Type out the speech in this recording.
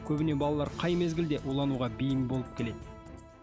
көбіне балалар қай мезгілде улануға бейім болып келеді